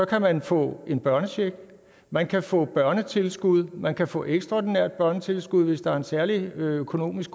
kan man få en børnecheck man kan få børnetilskud man kan få ekstraordinært børnetilskud hvis der er en særlig god økonomisk